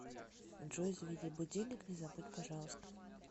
джой заведи будильник не забудь пожалуйста